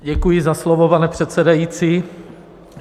Děkuji za slovo, pane předsedající.